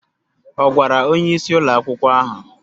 Ọ̀ gwara onyeisi ụlọ akwụkwọ ahụ?